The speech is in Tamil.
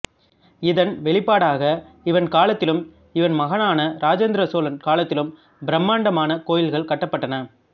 இதன் வெளிப்பாடாக இவன் காலத்திலும் இவன் மகனான இராஜேந்திர சோழன் காலத்திலும் பிரம்மாண்டமான கோயில்கள் கட்டப்பட்டன